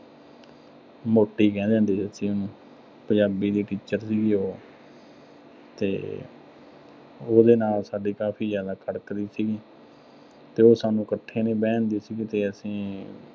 ਮੋਟੀ ਕਹਿੰਦੇ ਹੁੰਦੇ ਸੀ, ਅਸੀਂ ਉਹਨੂੰ, ਪੰਜਾਬੀ ਦੀ teacher ਸੀਗੀ ਉਹ। ਤੇ ਉਹਦੇ ਨਾਲ ਸਾਡੀ ਕਾਫ਼ੀ ਜ਼ਿਆਦਾ ਖੜਕਦੀ ਸੀਗੀ। ਤੇ ਉਹ ਸਾਨੂੰ ਇਕੱਠੇ ਨੀਂ ਬਹਿਣ ਦਿੰਦੀ ਸੀ ਤੇ ਅਸੀਂ